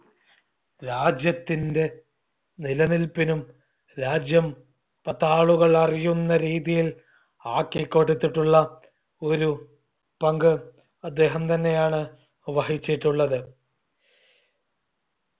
രാജ്യത്തിൻറെ നിലനിൽപ്പിനും രാജ്യം പത്താളുകൾ അറിയുന്ന രീതിയിൽ ആക്കിക്കൊടുത്തിട്ടുള്ള ഒരു പങ്ക് അദ്ദേഹം തന്നെയാണ് വഹിച്ചിട്ടുള്ളത്